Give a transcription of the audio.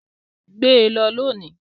Gbe lọ lónìí!